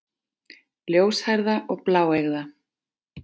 Ljóshærða og bláeygða.